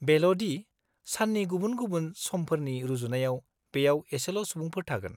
बेल' दि साननि गुबुन समफोरनि रुजुनायाव बेयाव एसेल' सुबुंफोर थागोन।